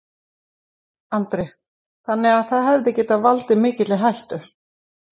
Andri: Þannig að það hefði getað valdið mikilli hættu?